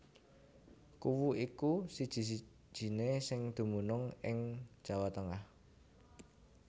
Kuwu iku siji sijiné sing dumunung ing Jawa Tengah